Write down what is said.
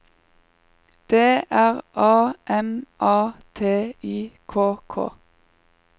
D R A M A T I K K